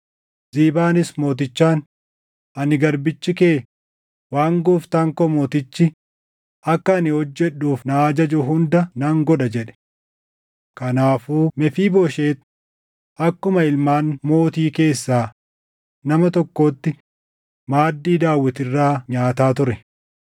Ziibaanis mootichaan, “Ani garbichi kee waan gooftaan koo mootichi akka ani hojjedhuuf na ajaju hunda nan godha” jedhe. Kanaafuu Mefiibooshet akkuma ilmaan mootii keessaa nama tokkootti maaddii Daawit irraa nyaata ture.